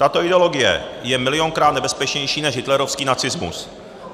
Tato ideologie je milionkrát nebezpečnější než hitlerovský nacismus.